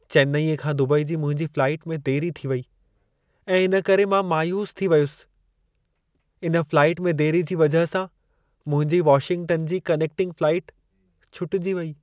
चेन्नई खां दुबई जी मुंहिंजी फ़्लाइट में देरी थी वेई ऐं इन करे मां मायूस थी वियुसि। इन फ़्लाइट में देरी जी वजह सां मुंहिंजी वाशिंगटन जी कनेक्टिंग फ़्लाइट छुटिजी वेई।